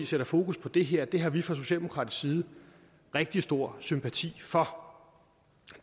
sætter fokus på det her har vi fra socialdemokratisk side rigtig stor sympati for